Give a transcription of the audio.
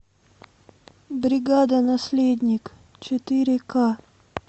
бригада наследник четыре ка